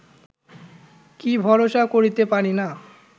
কি ভরসা করিতে পারি না